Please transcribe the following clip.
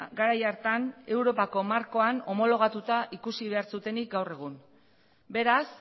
garai hartan europako markoan homologatuta ikusi behar zutenik gaur egun beraz